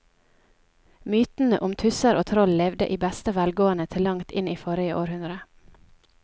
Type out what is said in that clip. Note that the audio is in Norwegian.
Mytene om tusser og troll levde i beste velgående til langt inn i forrige århundre.